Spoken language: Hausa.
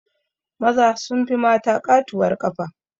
Maza sun fi mata ƙatuwar ƙafa